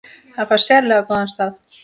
Það fær sérlega góðan stað.